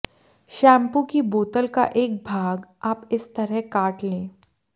shampoo की बोतल का एक भाग आप इस तरह काट लें